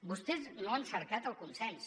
vostès no han cercat el consens